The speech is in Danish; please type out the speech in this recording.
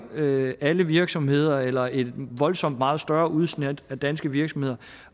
alle virksomheder eller et voldsomt meget større udsnit af danske virksomheder